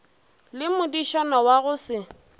le modišana wa go se